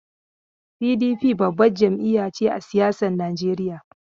PDP babbar jam'iya ce a siyasar Najeriya.